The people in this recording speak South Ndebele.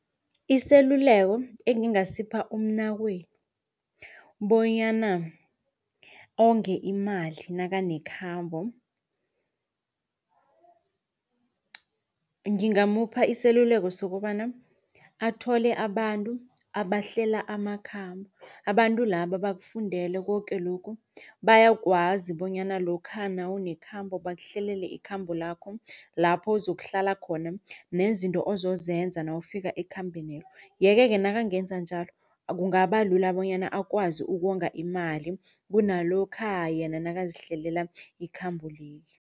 Iseluleko engingasipha umnakwenu bonyana onge imali nekakhambo. Ngimngamupha iseluleko sokobana athole abantu abahlela amakhambo abantu laba bakufundele koke lokhu bayakwazi bonyana lokha nawunekhambo bakuhlalele ikhambo lakho lapho ozokuhlala khona nezinto ozosenza nawufika ekhambeni lelo. Yeke-ke nakangenza njalo kungabalula bonyana akwazi ukonga imali kunalokha yena nakazihlelela ikhambo leli.